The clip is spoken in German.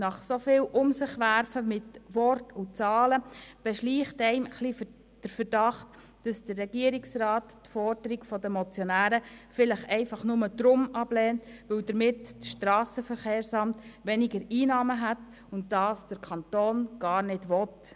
Nach so viel «Um-sich-Werfen» mit Worten und Zahlen beschleicht einen der Verdacht, der Regierungsrat lehne die Forderung der Motionäre einfach nur deshalb ab, weil dadurch das SVSA weniger Einnahmen hätte und der Kanton dies gar nicht will.